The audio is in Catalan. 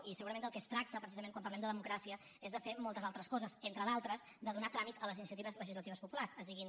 i segurament del que es tracta precisament quan parlem de democràcia és de fer moltes altres coses entre d’altres de donar tràmit a les iniciatives legislatives populars es diguin